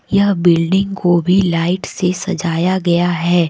यह बिल्डिंग को भी लाइट से सजाया गया है।